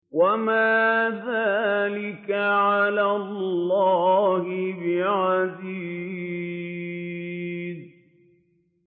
وَمَا ذَٰلِكَ عَلَى اللَّهِ بِعَزِيزٍ